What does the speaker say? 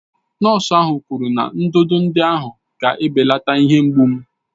Nọọsụ ahụ kwuru ntụtụ ahụ ga-ebelata ihe mgbu m